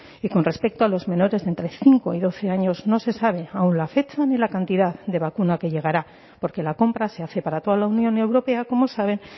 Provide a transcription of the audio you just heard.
y con respecto a los menores de entre cinco y doce años no se sabe aún la fecha ni la cantidad de vacuna que llegará porque la compra se hace para toda la unión europea como saben